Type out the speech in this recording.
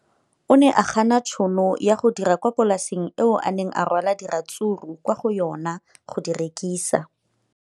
O ne a gana tšhono ya go dira kwa polaseng eo a neng rwala diratsuru kwa go yona go di rekisa.